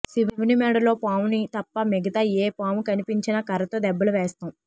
శివుని మెడలో పాముని తప్ప మిగతా ఏ పాము కనిపించినా కర్రతో దెబ్బలు వేస్తాం